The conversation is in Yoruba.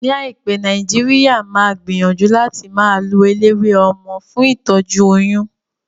Ní àìpé, Nàìjíríà máa gbìyànjú láti máa lo eléwé ọmọ fún ìtọ́jú oyún